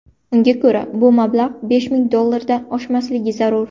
Unga ko‘ra, bu mablag‘ besh ming dollardan oshmasligi zarur.